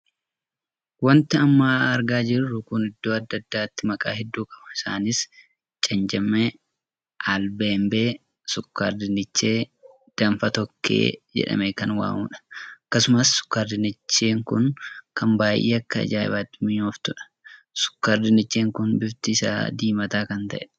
Wanti amma argaa jirru kun iddoo addaa addaatti maqaa hedduu qaba. isaanis cencemee, albaanbee, sukkaar dinnichee, danfaa tokkee, jedhamee kan waamamuudha. Akkasumas sukkaar dinnichee kun kan baay'ee akka ajaa'ibaatti minyooftuudha. Sukkaar dinnicheen kun bifti isaa diimataa kana taheedha.